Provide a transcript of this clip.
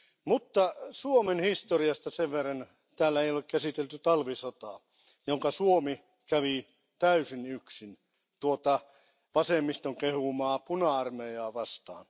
Mutta Suomen historiasta sen verran, että täällä ei ole käsitelty talvisotaa, jonka Suomi kävi täysin yksin tuota vasemmiston kehumaa puna armeijaa vastaan.